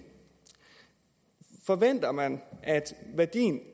forventer man at værdien